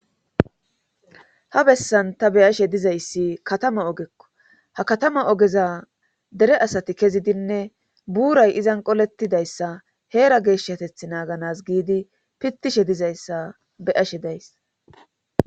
ha bessan ta beyashe dizayssi katama ogekko ha katama ogeza dere asati kezidinne buuray izan qoletidayssa heera geeshshateth naaganas giidi pittishe dizayssa beyashe days